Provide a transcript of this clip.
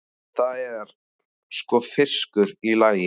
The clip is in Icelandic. Það er sko fiskur í lagi.